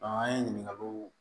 an ye ɲininkaliw